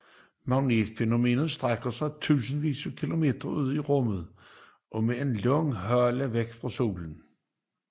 Magnetosfæren strækker sig titusindvis af kilometer ud i rummet og med en lang hale væk fra solen